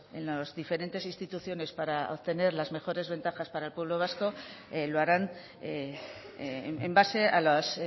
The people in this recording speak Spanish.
en las diferentes instituciones para obtener las mejores ventajas para el pueblo vasco lo harán en base a las